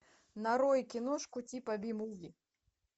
нарой киношку типа би муви